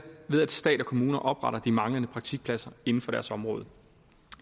ved at stat og kommuner opretter de manglende praktikpladser inden for deres område